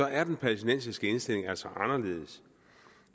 er den palæstinensiske indstilling altså anderledes